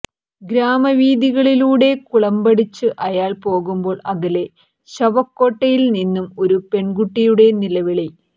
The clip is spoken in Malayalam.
ഗ്രാമവീഥികളിലൂടെ കുളമ്പടിച്ച് അയാൾ പോകുമ്പോൾ അകലെ ശവക്കോട്ടയിൽ നിന്ന് ഒരു പെൺകുട്ടിയുടെ നിലവിളി